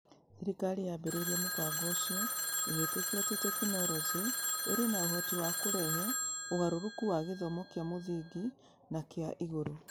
Thirikari yaambĩrĩirie mũbango ũcio ĩgĩtĩkia atĩ tekinolonjĩ ĩrĩ na ũhoti wa kũrehe ũgarũrũku wa gĩthomo kĩa mũthingi na kĩa igũrũ.